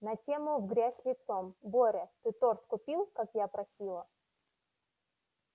на тему в грязь лицом боря ты торт купил как я просила